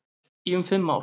Í um fimm ár.